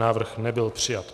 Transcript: Návrh nebyl přijat.